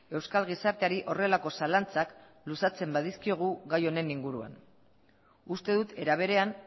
euskal gizarteari horrelako zalantzak luzatzen badizkiogu gai honen inguruan uste dut era berean